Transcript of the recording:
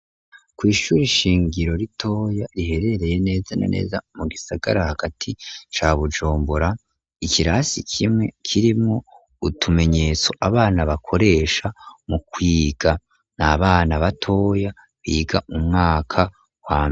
Kw'ishuri shingiro ritoya riherereye neza na neza mu gisagara hagati ca bujombora ikirasi kimwe kirimo utumenyetso abana bakoresha mu kwiga n'abana batoya biga umwaka wa mbere.